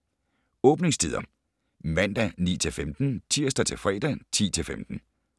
Åbningstider: Mandag: 9-15 Tirsdag - fredag: 10-15